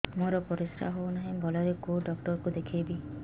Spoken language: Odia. ମୋର ପରିଶ୍ରା ହଉନାହିଁ ଭଲରେ କୋଉ ଡକ୍ଟର କୁ ଦେଖେଇବି